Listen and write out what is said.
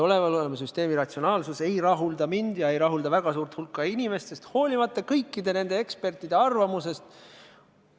Olemasoleva süsteemi ratsionaalsus ei rahulda mind ja ei rahulda väga suurt hulka inimesi, hoolimata kõikide nende ekspertide arvamusest.